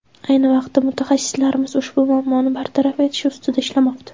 Ayni vaqtda mutaxassislarimiz ushbu muammoni bartaraf etish ustida ishlashmoqda.